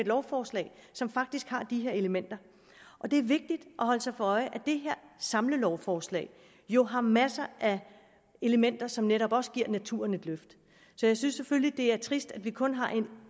lovforslag som faktisk har de her elementer og det er vigtigt at holde sig for øje at det her samlelovforslag jo har masser af elementer som netop også giver naturen et løft så jeg synes selvfølgelig det er trist at vi kun har